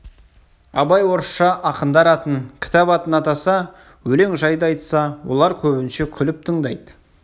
абай орысша ақындар атын кітап атын атаса өлең жайды айтса олар көбінше күліп тыңдайды